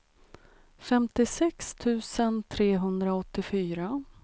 femtiosex tusen trehundraåttiofyra